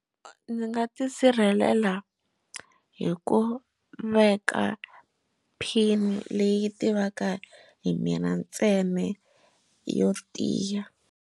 Ndzi nga tisirhelela hi ku veka pin leyi tivaka hi mina ntsena yo tiya.